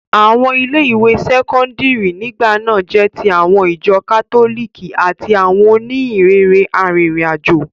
Àwọn ilé ìwé sẹ́kọ́ńdírì nígbà náà jẹ́ ti àwọn ìjọ kátólìkì àti àwọn òníhìnrere arìnrìn àjò.